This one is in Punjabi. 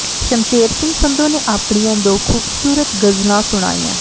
ਸ਼ਮਸ਼ੇਰ ਸਿੰਘ ਸੰਧੂ ਨੇ ਆਪਣੀਆਂ ਦੋ ਖ਼ੂਬਸੂਰਤ ਗ਼ਜ਼ਲਾਂ ਸੁਣਾਈਆਂ